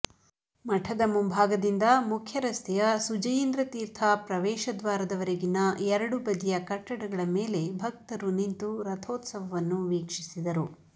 ಮಠದ ಮುಂಭಾಗದಿಂದ ಮುಖ್ಯರಸ್ತೆಯ ಸುಜಯೀಂದ್ರ ತೀರ್ಥ ಪ್ರವೇಶದ್ವಾರದವರೆಗಿನ ಎರಡು ಬದಿಯ ಕಟ್ಟಡಗಳ ಮೇಲೆ ಭಕ್ತರು ನಿಂತು ರಥೋತ್ಸವವನ್ನು ವೀಕ್ಷಿಸಿದರು